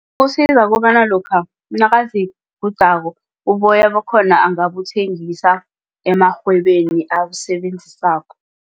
Kusiza kobana lokha nakazigudako uboya bakhona angabuthengisa emarhwebeni abusebenzisako.